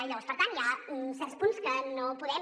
llavors per tant hi ha certs punts que no podem